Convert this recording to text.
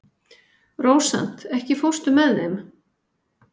Rósant, ekki fórstu með þeim?